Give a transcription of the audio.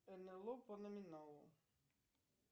нло по номиналу